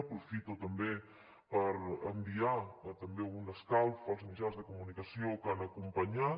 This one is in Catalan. aprofito també per enviar un escalf als mitjans de comunicació que han acompanyat